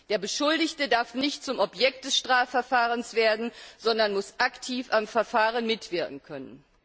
Der Beschuldigte darf nicht zum Objekt des Strafverfahrens werden, sondern muss aktiv am Verfahren mitwirken können.